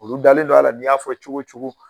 Olu dalen don a la n'i y'a fɔ cogo o cogo